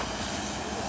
Qaç qoy.